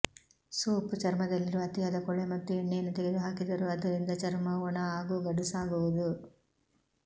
soap ಚರ್ಮದಲ್ಲಿರುವ ಅತಿಯಾದ ಕೊಳೆ ಮತ್ತು ಎಣ್ಣೆಯನ್ನು ತೆಗೆದುಹಾಕಿದರೂ ಅದರಿಂದ ಚರ್ಮವು ಒಣ ಹಾಗೂ ಗಡುಸಾಗುವುದು